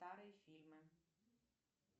старые фильмы